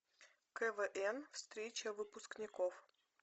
квн встреча выпускников